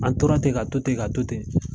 An tora ten ka to ten ka to ten.